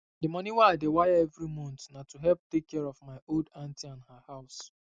the money wey i dey wire every month na to help take care of my old auntie and her house